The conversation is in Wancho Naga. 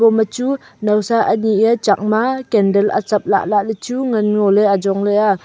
habo ma chu naosa ni a chak ma candle achep lah le chu ngan ngo ley.